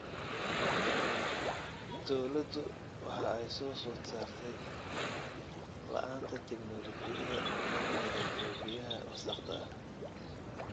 Dawladdu waxa ay soo food saartay la'aanta tignoolajiyada lagu nadiifiyo biyaha wasakhda ah.